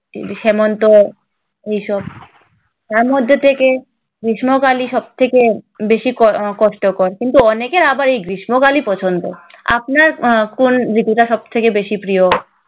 হেমন্ত এইসব। তার মধ্যে থেকে গ্রীষ্মকালই সব থেকে বেশি ক~ কষ্টকর। কিন্তু অনেকের আবার এই গ্রীষ্মকালই পছন্দ। আপনার আহ কোন ঋতুটা সব থেকে বেশি প্রিয়?